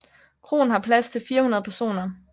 Kroen har plads til 400 personer